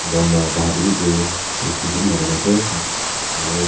bahar te wi tu fencing khan bi lagaina ase aro--